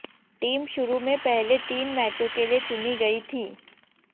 team शुरू में पहले तीन मैचों के लिये चुनी गयी थी